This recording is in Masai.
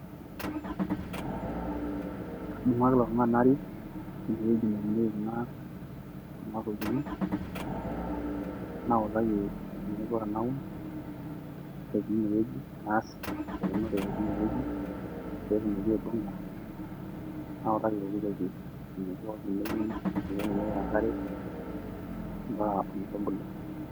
kadumu ake ilo tungani naik ine wueji neiuniki kuna tokitin. nautaki eneiko tenaun, ore etii ine wueji naas eunore teine wueji. pee etumoki aibung'a, nautaki eneikoni teneiuni eninko tenipik enkare mpaka ometubulu.